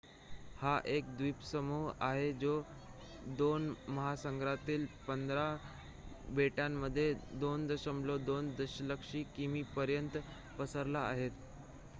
हा एक द्वीपसमूह आहे जो 2 महासागरांतील 15 बेटांमध्ये 2.2 दशलक्षकिमीपर्यंत पसरला आहे